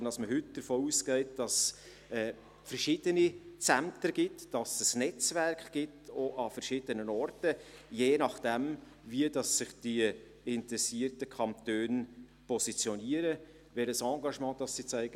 Vielmehr geht man heute davon aus, dass es mehrere Zentren und ein Netzwerk aus verschiedenen Orten geben wird, je nachdem, wie sich die interessierten Kantone positionieren und welches Engagement sie zeigen.